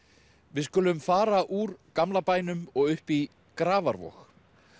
við skulum fara úr gamla bænum og upp í Grafarvog